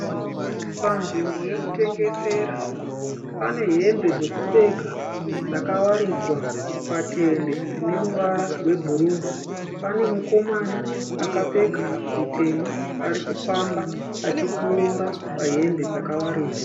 Panzvimbo yekutengesera, pane hembe dzekupfeka dzakawaridzwa patende rine ruvara rwebhuruu. Pane mukomana akapfeka zvitema arikufamba achipfuura pahembe dzakawaridzwa